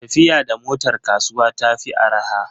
Tafiya da motar kasuwa ta fi araha.